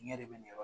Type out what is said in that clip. Ɲɛ de bɛ ɲɔ